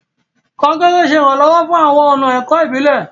Konkere ṣe iranlọwọ fún awọn ọna ẹkọ ibilẹ.